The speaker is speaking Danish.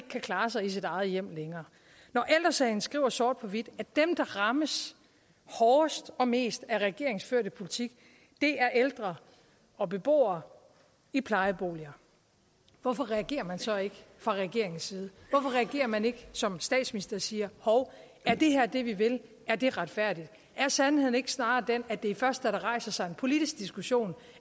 kan klare sig i sit eget hjem når ældre sagen skriver sort på hvidt at dem der rammes hårdest og mest af regeringens førte politik er ældre og beboere i plejeboliger hvorfor reagerer man så ikke fra regeringens side hvorfor reagerer man ikke som statsminister og siger hov er det her det vi vil er det retfærdigt er sandheden ikke snarere den at det først er da der rejser sig en politisk diskussion